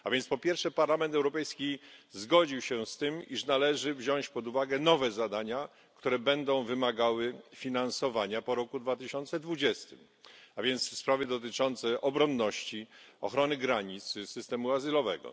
Po pierwsze, Parlament Europejski zgodził się z tym, iż należy wziąć pod uwagę nowe zadania, które będą wymagały finansowania po roku 2020, a więc sprawy dotyczące obronności, ochrony granic, systemu azylowego.